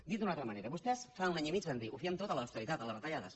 dit d’una altra manera vostès fa un any i mig van dir ho fiem tot a l’austeritat a les retallades